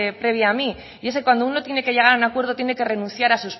previa a mí y es que cuando uno tiene que llegar a un acuerdo tiene que renunciar a